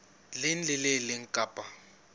leng le le leng kapa